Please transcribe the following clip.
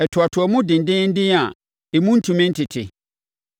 Ɛtoatoa mu dendeenden a emu ntumi ntete.